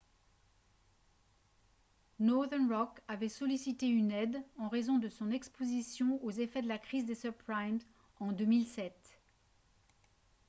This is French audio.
northern rock avait sollicité une aide en raison de son exposition aux effets de la crise des subprimes en 2007